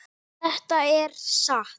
Þetta er satt.